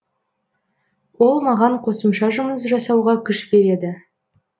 ол маған қосымша жұмыс жасауға күш береді